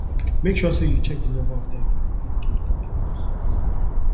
make sure say you check the number of time you you fit give to di cause